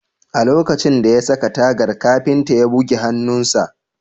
A lokacin da ya saka tagar, kafinta ya bugi hannunsa